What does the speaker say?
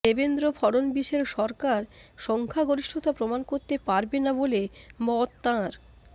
দেবেন্দ্র ফড়নবীশের সরকার সংখ্যা গরিষ্ঠতা প্রমাণ করতে পারবে না বলে মত তাঁর